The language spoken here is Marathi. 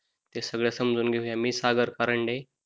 ते सगळं समजून घेऊयात मी सागर कारंडे,